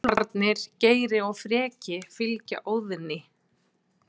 Úlfarnir Geri og Freki fylgja Óðni.